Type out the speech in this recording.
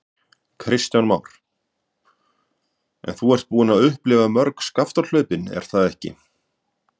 Kristján Már: En þú ert búinn að upplifa mörg Skaftárhlaupin er það ekki?